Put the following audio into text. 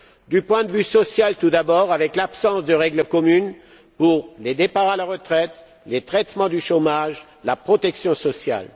D'un point de vue social, tout d'abord, avec l'absence de règles communes pour les départs à la retraite, le traitement du chômage et la protection sociale.